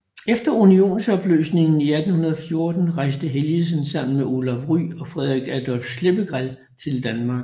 Efter unionsopløsningen i 1814 rejste Helgesen sammen med Olaf Rye og Friderich Adolph Schleppegrell til Danmark